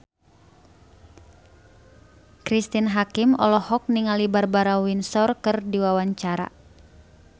Cristine Hakim olohok ningali Barbara Windsor keur diwawancara